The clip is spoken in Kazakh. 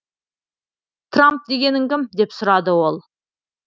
трамп дегенің кім деп сұрады ол